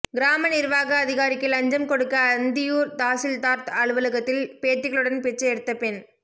கிராம நிர்வாக அதிகாரிக்கு லஞ்சம் கொடுக்க அந்தியூர் தாசில்தார் அலுவலகத்தில் பேத்திகளுடன் பிச்சை எடுத்த பெண்